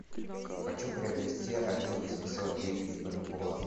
хочу приобрести один восемьсот девять бальбоа